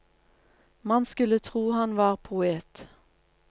Man skulle tro han var poet.